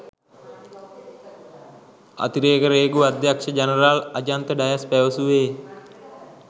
අතිරේක රේගු අධ්‍යක්ෂ ජනරාල් අජන්ත ඩයස් පැවසුවේ